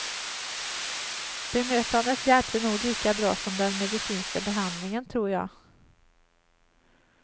Bemötandet hjälpte nog lika bra som den medicinska behandlingen, tror jag.